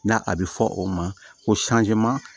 Na a bɛ fɔ o ma ko